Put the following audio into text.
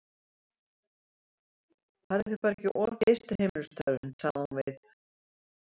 Farðu þér bara ekki of geyst við heimilisstörfin, sagði hún við